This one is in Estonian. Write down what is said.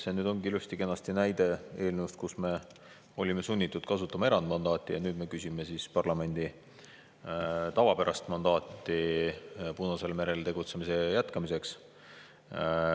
No vot, see oligi ilusti-kenasti näide eelnõust, mille puhul me olime sunnitud kasutama erandmandaati, ja nüüd me küsime parlamendi tavapärast mandaati Punasel merel tegutsemise jätkamiseks.